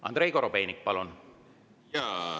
Andrei Korobeinik, palun!